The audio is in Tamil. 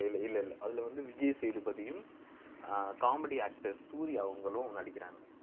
இல்ல இல்ல அதுல வந்து விஜய் சேதுபதியும் அஹ் comedy actor சூரி அவங்களும் நடிக்கிறாங்க